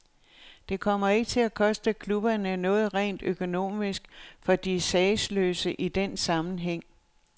Det kommer ikke til at koste klubberne noget rent økonomisk, for de er sagesløse i denne sammenhæng.